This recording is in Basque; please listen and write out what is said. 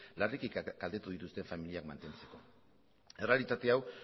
larriki kaltetu dituzte familiak mantentzeko errealitate hau